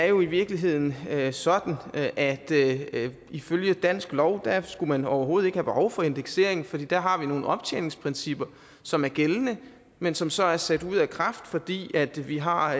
jo i virkeligheden er sådan at at ifølge dansk lov skulle man overhovedet ikke have behov for indeksering for der har vi nogle optjeningsprincipper som er gældende men som så er sat ud af kraft fordi vi har